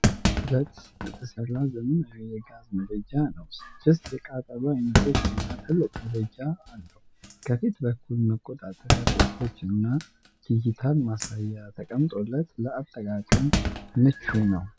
ማስቲል ብረት የተሰራ ዘመናዊ የጋዝ ምድጃ ነው። ስድስት የቃጠሎ አይኖችና ትልቅ ምድጃ አለው። ከፊት በኩል መቆጣጠሪያ ቁልፎችና ዲጂታል ማሳያ ተቀመጦለት ለአጠቃቀም ምቹ ነው።